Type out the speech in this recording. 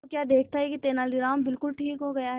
तो क्या देखता है कि तेनालीराम बिल्कुल ठीक हो गया है